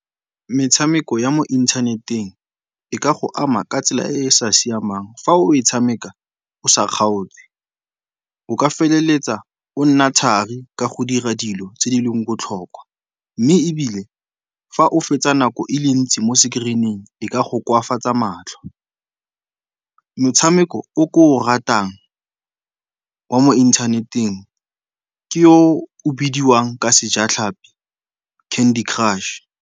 Metshameko ya mo inthaneteng e ka go ama ka tsela e e sa siamang fa o e tshameka o sa kgaotse. O ka feleletsa o nna thari ka go dira dilo tse di leng botlhokwa mme ebile fa o fetsa nako e le ntsi mo screen-ing e ka go koafatsa matlho. Motshameko o ke o ratang wa mo inthaneteng ke o o bidiwang ka sejatlhapi Candy Crush.